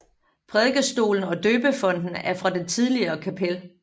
Prædikestolen og døbefonten er fra det tidligere kapel